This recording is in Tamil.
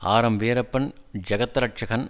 ஆர்எம் வீரப்பன் ஜெகத்ரட்சகன்